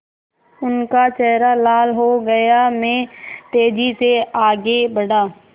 उनका चेहरा लाल हो गया मैं तेज़ी से आगे बढ़ा